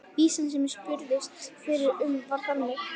Vísan sem ég spurðist fyrir um var þannig